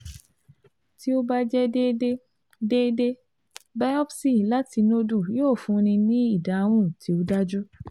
tí ó bá jẹ́ déédé, déédé, biopsy láti nódù yóò fúnni ní ìdáhùn tí ó dájú